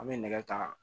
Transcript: An bɛ nɛgɛ ta